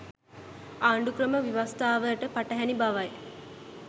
ආණ්ඩුක්‍රම ව්‍යවස්ථාවට පටහැණි බවයි